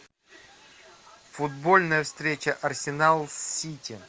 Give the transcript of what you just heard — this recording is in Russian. футбольная встреча арсенал с сити